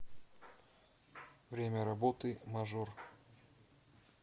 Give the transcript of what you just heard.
время работы мажор